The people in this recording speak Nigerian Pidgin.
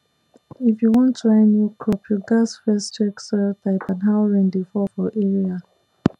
if you wan try new crop you gats first check soil type and how rain dey fall for area